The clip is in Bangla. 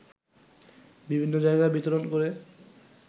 বিভিন্ন জায়গায় বিতরণ করে